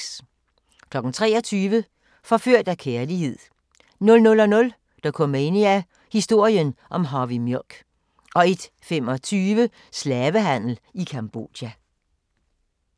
23:00: Forført af kærlighed 00:00: Dokumania: Historien om Harvey Milk 01:25: Slavehandel i Cambodja